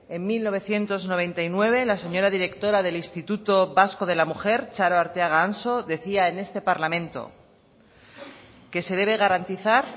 en mil novecientos noventa y nueve la señora directora del instituto vasco de la mujer txaro arteaga anso decía en este parlamento que se debe garantizar